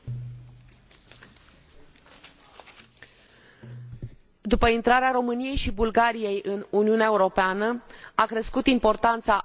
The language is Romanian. După intrarea României și Bulgariei în Uniunea Europeană, a crescut importanța Mării Negre pentru politica de securitate și apărare comună.